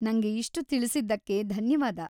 ನಂಗೆ ಇಷ್ಟು ತಿಳಿಸಿದ್ದಕ್ಕೆ ಧನ್ಯವಾದ.